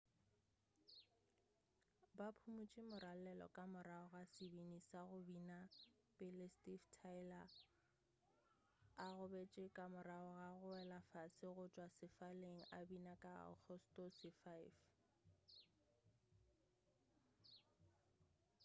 ba phumutše moralelo ka morago ga sebini sa go bina pele steve tyler a gobetši ka morago ga go wela fase go tšwa sefaleng a bina ka agostose 5